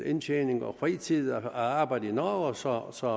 indtjening og fritid at arbejde i norge så så